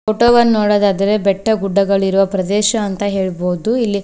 photo ವನ್ನು ನೋಡುವುದಾದರೆ ಬೆಟ್ಟ ಗುಡ್ಡಗಳಿರುವ ಪ್ರದೇಶ ಅಂತ ಹೇಳಬಹುದು ಇಲ್ಲಿ--